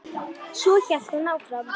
Svo hélt hún áfram: